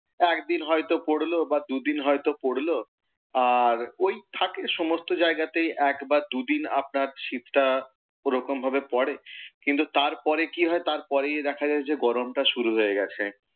একদিন হয়ত পড়লো বা দুদিন হয়ত পড়লো, আর ওই থাকে সমস্ত জায়গায়তেই এক বা দুদিন আপনার শীতটা ওরকম ভাবে পড়ে। কিন্তু তারপরেই কি হয় তারপরেই দেখা যায় গরমটা শুরু হয়ে গেছে।